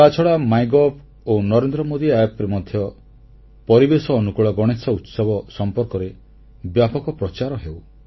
ତାଛଡ଼ା ମାଇଗଭ୍ ଓ ନରେନ୍ଦ୍ର ମୋଦି App ରେ ମଧ୍ୟ ପରିବେଶ ଅନୁକୂଳ ଗଣେଶ ଉତ୍ସବ ସମ୍ପର୍କରେ ବ୍ୟାପକ ପ୍ରଚାର ହେଉ